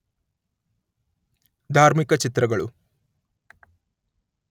ಧಾರ್ಮಿಕ ಚಿತ್ರಗಳು